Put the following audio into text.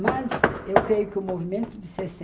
Mas eu creio que o movimento de sessen